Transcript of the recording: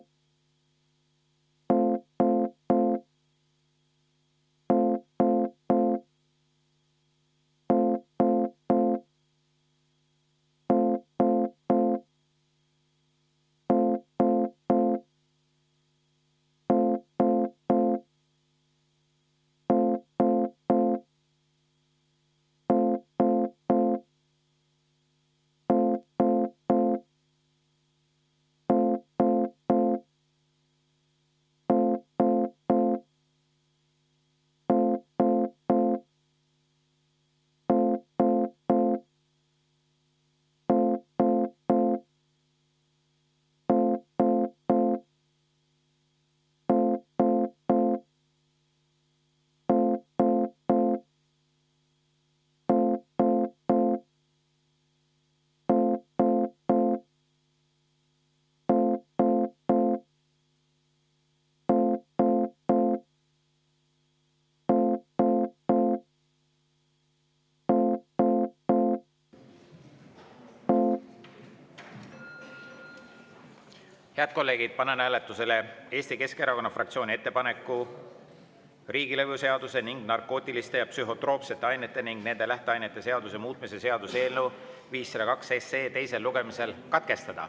Head kolleegid, panen hääletusele Eesti Keskerakonna fraktsiooni ettepaneku riigilõivuseaduse ning narkootiliste ja psühhotroopsete ainete ning nende lähteainete seaduse muutmise seaduse eelnõu 502 teine lugemine katkestada.